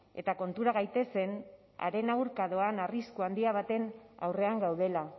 eta kontura gaitezen haren aurka doan arrisku handi baten aurrean gaudela